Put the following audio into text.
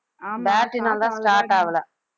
battery னாலதான் வந்து start ஆகலை